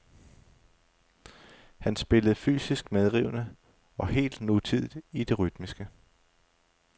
Han spillede fysisk medrivende og helt nutidigt i det rytmiske.